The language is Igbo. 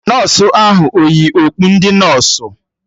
Nọsụ ahụ eyi okpu ndị nọsụ?